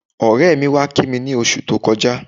Ọ̀rẹ́ mi wá kí mi ní oṣù tó kọjá